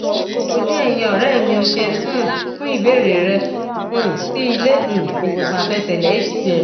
ojú ẹyìnọrẹ mio ṣeun um fún ìbéèrè rẹ um sí ilé um ìwòsàn àfẹsẹlẹ hcm